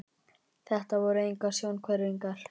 Þetta voru engar sjónhverfingar.